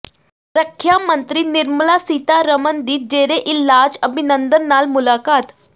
ਰੱਖਿਆ ਮੰਤਰੀ ਨਿਰਮਲਾ ਸੀਤਾਰਮਨ ਦੀ ਜੇਰੇ ਇਲਾਜ ਅਭਿਨੰਦਨ ਨਾਲ ਮੁਲਾਕਾਤ